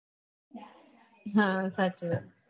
હા સાચી વાત